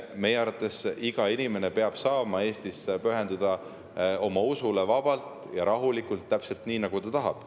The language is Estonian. Meie arvates iga inimene peab saama Eestis pühenduda oma usule vabalt ja rahulikult, täpselt nii, nagu ta tahab.